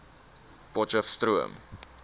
potcheftsroom